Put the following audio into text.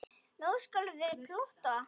Nú skulum við plotta.